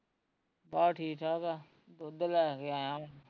ਬਸ ਠੀਕ ਠਾਕ ਆ, ਦੁੱਧ ਲੈ ਕੇ ਆਇਆ ਵਾ